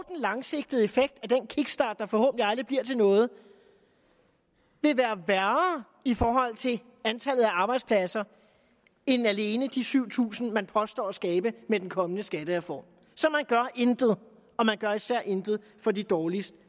langsigtede effekt af den kickstart der forhåbentlig aldrig bliver til noget vil være værre i forhold til antallet af arbejdspladser end alene de syv tusind man påstår at skabe med den kommende skattereform så man gør intet man gør især intet for de dårligst